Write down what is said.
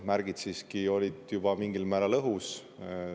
Märgid siiski olid juba mingil määral õhus.